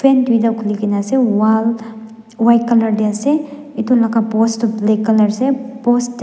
duita khuligina asey wall white colour deh asey etu laga post du black colour asey post de--